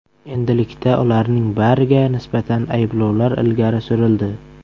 Endilikda ularning bariga nisbatan ayblovlar ilgari surildi.